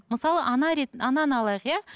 мысалы ана ананы алайық иә